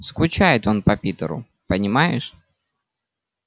скучает он по питеру понимаешь